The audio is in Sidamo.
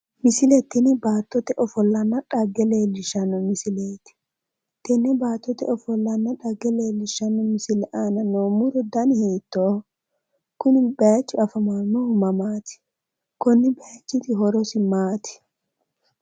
Misile tini baattote ofollanna dhagge leellishshanno misileeti, tenne baattotenna ofollana dhagge leellishshanno misile muro dani hiittoho? Kuni bayiichu afamannohu mamaati? konni bayiichiti horo maati?